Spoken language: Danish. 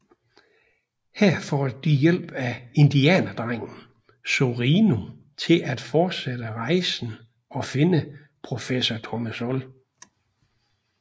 Her får de hjælp af indianerdrengen Zorino til at fortsætte rejsen og finde professor Tournesol